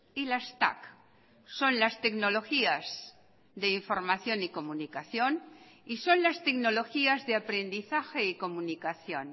y las tac son las tecnologías de información y comunicación y son las tecnologías de aprendizaje y comunicación